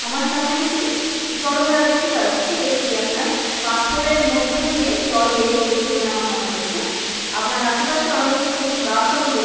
আমার সামনে আমি এটি জলধারা দেখতে পাচ্ছি এটি আপনার পাথরের মধ্য দিয়ে জল বেয়ে চলছে বলে আমার মনে হচ্ছে আপনার আশেপাশে অনেক সবুজ গাছও আমি দে--